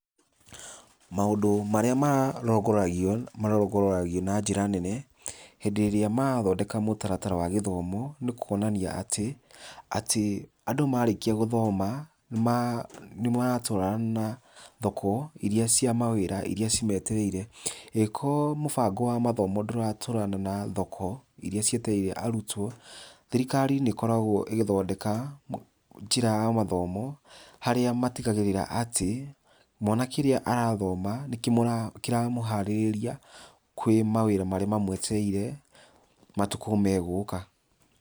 Maũndũ marĩa marongoragio, marongoragio na njĩra nene hĩndĩ ĩrĩa marathondeka mũtaratara wa gĩthomo nĩ kũonania atĩ andũ marĩkia gũthoma nĩ maratwarana na thoko irĩa cia mawĩra irĩa cimetereire. Angĩkorwo mũbango wa mathomo ndũratwarana na thoko irĩa cietereire arutwo thirikari nĩ ĩgĩkoragwo ĩgĩthondeka njĩra ya mathomo harĩa matigagĩrĩra atĩ mwana kĩrĩa arathoma nĩ kĩramũharĩrĩria kũrĩ mawĩra marĩa mamwetereire matukũ megũka .